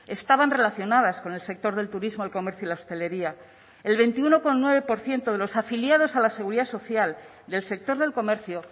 estaban relacionadas con el sector del turismo el comercio y la hostelería el veintiuno coma nueve por ciento de los afiliados a la seguridad social del sector del comercio